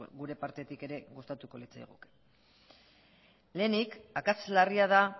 gure partetik ere gustatuko litzaiguke lehenik akats larria da